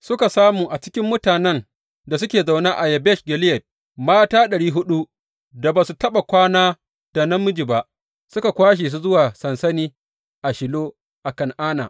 Suka samu a cikin mutanen da suke zaune a Yabesh Gileyad mata ɗari huɗu da ba su taɓa kwana da namiji ba, suka kwashe su zuwa sansani a Shilo a Kan’ana.